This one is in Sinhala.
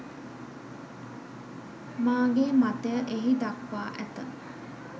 මාගේ මතය එහි දක්වා ඇත